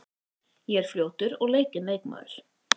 Ég er fljótur og leikinn leikmaður.